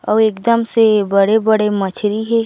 अउ एकदम से बड़े-बड़े मछरी हे।